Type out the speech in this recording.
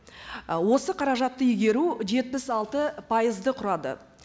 і осы қаражатты игеру жетпіс алты пайызды құрады